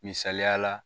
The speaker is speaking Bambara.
Misaliyala